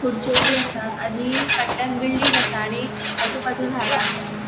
खुर्च्यो बी आसा आणि फाटल्यांन बिल्डिंग आसा आणि आजूबाजू झाड़ा आसा.